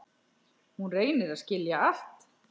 Hún reynir að skilja allt.